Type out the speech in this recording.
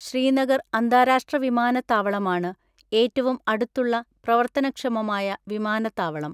ശ്രീനഗർ അന്താരാഷ്ട്രവിമാനത്താവളമാണ് ഏറ്റവും അടുത്തുള്ള പ്രവർത്തനക്ഷമമായ വിമാനത്താവളം.